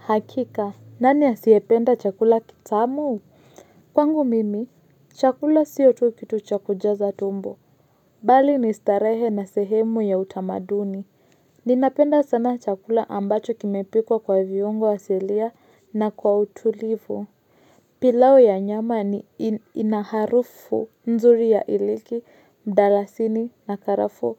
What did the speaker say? Hakika, nani asiyependa chakula kitamu? Kwangu mimi, chakula siyo tu kitu cha kujaza tumbo. Bali ni istarehe na sehemu ya utamaduni. Ninapenda sana chakula ambacho kimepikwa kwa viungo asilia na kwa utulivu. Pilau ya nyama ni ina harufu nzuri ya iliki, mdalasini na karafu.